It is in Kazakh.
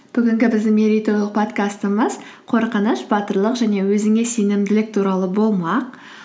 бүгінгі біздің меретойлық подкастымыз қорқыныш батырлық және өзіңе сенімділік туралы болмақ